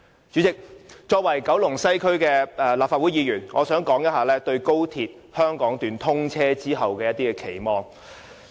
主席，作為九龍西區的立法會議員，我想談談對高鐵香港段通車後的期望。